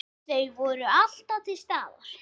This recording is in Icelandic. Þau voru alltaf til staðar.